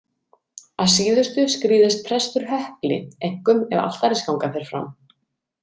Að síðustu skrýðist prestur hökli, einkum ef altarisganga fer fram.